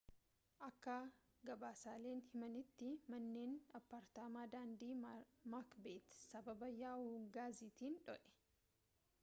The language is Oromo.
akka gabaasaaleen himanitti manneen appaartaamaa daandii maakbeet sababa yaa'uu gaasiitiin dhoye